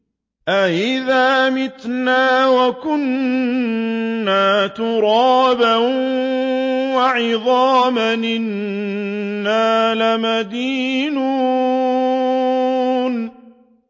أَإِذَا مِتْنَا وَكُنَّا تُرَابًا وَعِظَامًا أَإِنَّا لَمَدِينُونَ